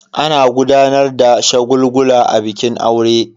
Ana gudanar da shagulgula a bikin aure.